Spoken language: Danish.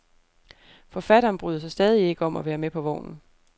Forfatteren bryder sig stadig ikke om at være med på vognen.